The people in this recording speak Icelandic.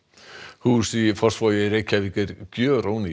hús í Fossvogi í Reykjavík er